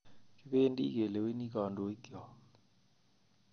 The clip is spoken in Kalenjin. Kibedi keleweni kodoik kyok